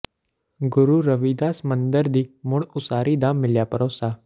ਗੁਰੂ ਰਵਿਦਾਸ ਮੰਦਰ ਦੀ ਮੁੜ ਉਸਾਰੀ ਦਾ ਮਿਲਿਆ ਭਰੋਸਾ